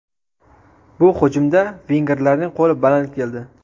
Bu hujumda vengerlarning qo‘li baland keldi.